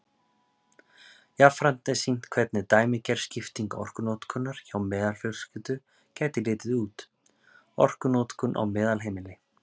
Jafnframt er sýnt hvernig dæmigerð skipting orkunotkunar hjá meðalfjölskyldu gæti litið út: Orkunotkun á meðalheimili.